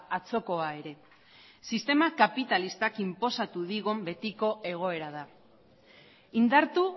atzokoa ere sistema kapitalistak inposatu digun betiko egoera da indartu